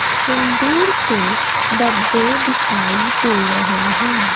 सिंदूर के डब्बे दिखाई दे रहे हैं।